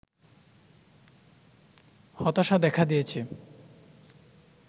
হতাশা দেখা দিয়েছে